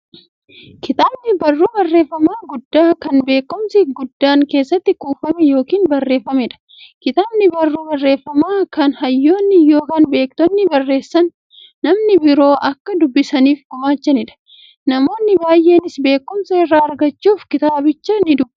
Kitaabni barruu barreeffamaa guddaa, kan beekumsi guddaan keessatti kuufame yookiin barreefameedha. Kitaabni barruu barreeffamaa, kan hayyoonni yookiin beektonni barreessanii, namni biroo akka dubbisaniif gumaachaniidha. Namoonni baay'eenis beekumsa irraa argachuuf kitaabicha nidubbisu.